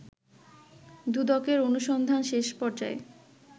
দুদকের অনুসন্ধান শেষ পর্যায়ে